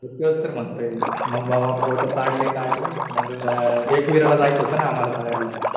तेच तर म्हणतोय. मग भावा फोटो काढले काढले. मग एकविरा ला जायचं होतं ना आम्हाला सगळ्यांना.